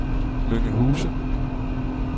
Mønge Huse